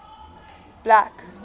black